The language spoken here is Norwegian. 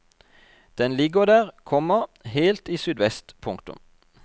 Den ligger der, komma helt i sydvest. punktum